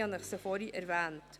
Ich habe dies vorhin erwähnt.